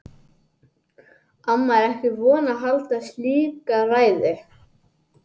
Amma er ekki vön að halda slíka ræðu.